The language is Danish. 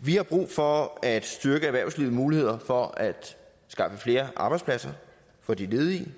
vi har brug for at styrke erhvervslivets muligheder for at skaffe flere arbejdspladser for de ledige